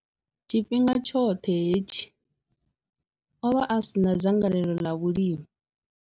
Tshifhinga tshoṱhe hetshi, o vha a si na dzangalelo ḽa vhulimi.